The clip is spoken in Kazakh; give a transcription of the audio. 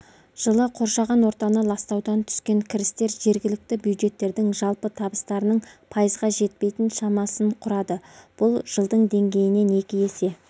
жылы қоршаған ортаны ластаудан түскен кірістер жергілікті бюджеттердің жалпы табыстарының пайызға жетпейтін шамасын құрады бұл жылдың деңгейінен екі есе